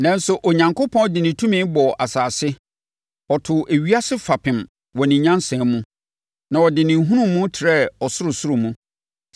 Nanso, Onyankopɔn de ne tumi bɔɔ asase; ɔtoo ewiase fapem wɔ ne nyansa mu na ɔde ne nhunumu trɛɛ ɔsorosoro mu.